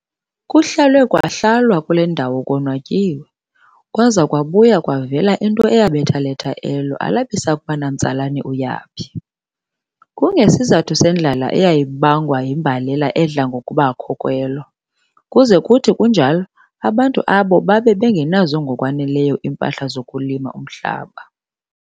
Kuhlalwe kwahlalwa kule ndawo konwatyiwe, kwaza kwabuya kwavela into eyabetha letha elo, alabisakuba namtsalane uyaphi. Kungesizathu sendlalaeyayibangwa yimbalela edla ngokuba kho kwelo, kuze kuthi kunjalo abantu aabo babe bengenazo ngokwaneleyo iimpahla zokulima umhlaba.